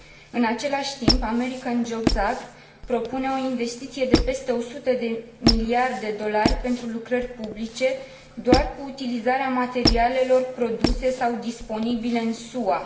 În același timp, American Jobs Act propune o investiție de peste 100 de miliarde USD pentru lucrări publice, doar cu utilizarea materialelor produse sau disponibile în SUA.